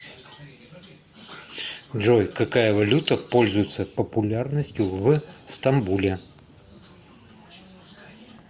джой какая валюта пользуется популярностью в стамбуле